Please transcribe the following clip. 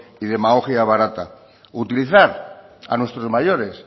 y demagogia barata utilizar a nuestros mayores